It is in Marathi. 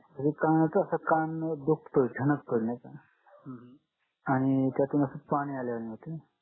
अस कान दुखतो ठणक तो नायका त्याआणि त्यातून असं पाणी आल्यावाणी होतं